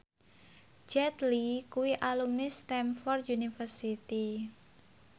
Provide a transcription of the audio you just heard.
Jet Li kuwi alumni Stamford University